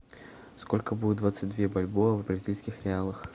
сколько будет двадцать две бальбоа в бразильских реалах